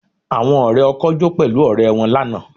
Àwọn ọ̀rẹ́ ọkọ jó pẹ̀lú ọ̀rẹ́ wọn lánàá